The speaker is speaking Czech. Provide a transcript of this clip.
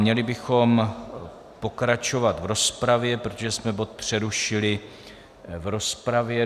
Měli bychom pokračovat v rozpravě, protože jsme bod přerušili v rozpravě.